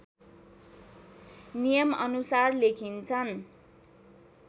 नियम अनुसार लेखिन्छन्